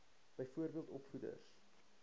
byvoorbeeld opvoeders